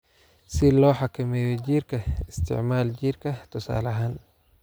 "Si loo xakameeyo jiirka, isticmaal jiirka tusaale ahaan.